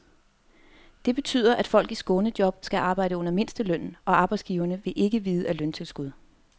Det betyder, at folk i skånejob skal arbejde under mindstelønnen, og arbejdsgiverne vil ikke vide af løntilskud.